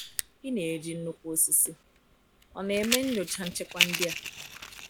Ị na-eji nnukwu osisi — Ọ̀ na-eme nyocha nchekwa ndị a?